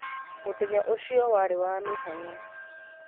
mũthenya ũcio warĩ wa mĩhang'o